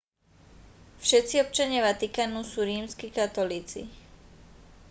všetci občania vatikánu sú rímski katolíci